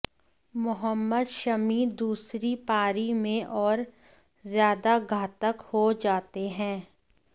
मोहम्मद शमी दूसरी पारी में और ज्यादा घातक हो जाते हैं